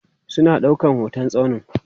suna ɗaukan hotan tsaunin